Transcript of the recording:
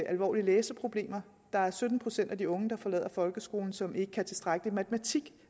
alvorlige læseproblemer der er sytten procent af de unge der forlader folkeskolen som ikke kan tilstrækkeligt med matematik